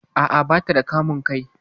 A'a, bata da kamun kai